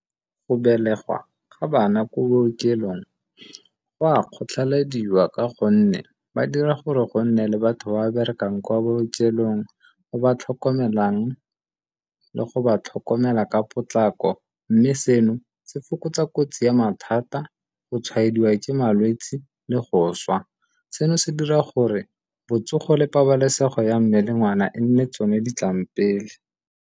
Go belegwa ga bana ko bookelong go a kgotlhalediwa ka gonne ba dira gore go nne le batho ba berekang kwa bookelong, ba ba tlhokomelang le go ba tlhokomela ka potlako mme seno se fokotsa kotsi ya mathata go tshwaediwa ke malwetsi le go swa. Seno se dira gore botsogo le pabalesego ya mme le ngwana e nne tsone di tlang pele.